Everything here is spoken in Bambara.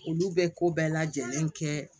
Olu bɛ ko bɛɛ lajɛlen kɛ